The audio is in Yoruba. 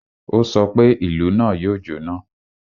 Ó sọ pé, "Ìlú náà yóò jọ́ná!"